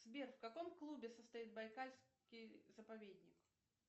сбер в каком клубе состоит байкальский заповедник